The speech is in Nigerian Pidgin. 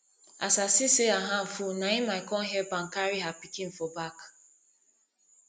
as i see say her hand full na im i come help am carry her pikin for back